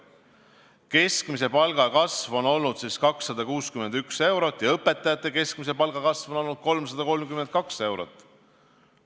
Keskmise palga kasv on olnud siis 261 eurot ja õpetajate keskmise palga kasv on olnud 332 eurot.